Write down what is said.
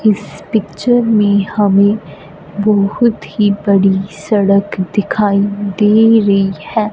इस पिक्चर में हमें बहुत ही बड़ी सड़क दिखाई दे रही है।